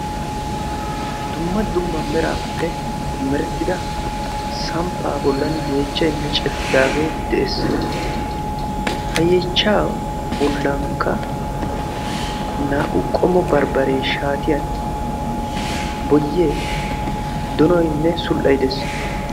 dumma dumma meraappe merttida samppaa bollan yeechchay micettidaagee de'ees ha yeechcha bollankka naa''u qommo barbbaree shaatiyan boyee donoynne sul''ay de'es